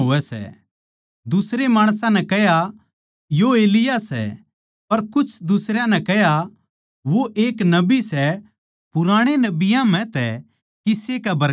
दुसरे माणसां नै कह्या यो एलिय्याह सै पर कुछ दुसरयां नै कह्या वो एक नबी सै पुराणे नबियाँ म्ह तै किसे कै बरगा